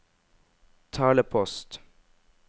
talepost